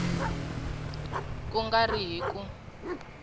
ku nga ri hi ku